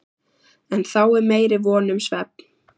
En þá er meiri von um svefn.